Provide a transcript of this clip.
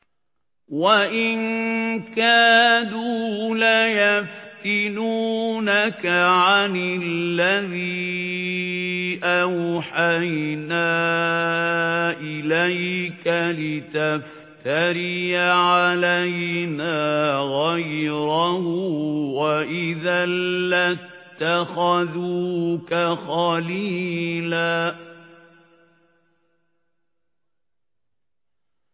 وَإِن كَادُوا لَيَفْتِنُونَكَ عَنِ الَّذِي أَوْحَيْنَا إِلَيْكَ لِتَفْتَرِيَ عَلَيْنَا غَيْرَهُ ۖ وَإِذًا لَّاتَّخَذُوكَ خَلِيلًا